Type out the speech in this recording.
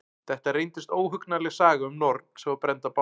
Þetta reyndist óhugnanleg saga um norn sem var brennd á báli.